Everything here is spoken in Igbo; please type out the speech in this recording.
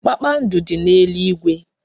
Kpakpando dị n'eluigwe.